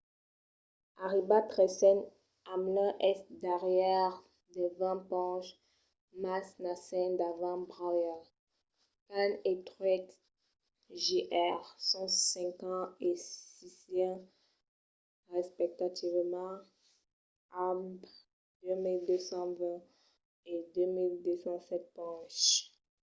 arribat tresen hamlin es darrièr de vint ponches mas n'a cinc davant bowyer. kahne e truex jr. son cinquen e sieisen respectivament amb 2 220 e 2 207 ponches